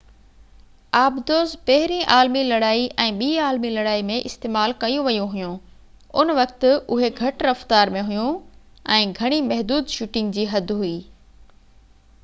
آبدوز پهرين عالمي لڙائي ۽ ٻي عالمي لڙائي ۾ استعمال ڪيون ويون هويون ان وقت اهي گهٽ رفتار ۾ هويون ۽ گهڻي محدود شوٽنگ جي حد هئي